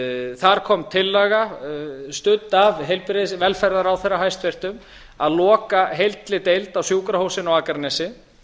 þar kom tillaga studd af velferðarráðherra hæstvirtur að loka heilli deild á sjúkrahúsinu á akranesi